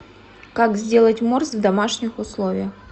как сделать морс в домашних условиях